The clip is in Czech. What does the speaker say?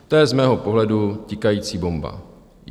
To je z mého pohledu tikající bomba.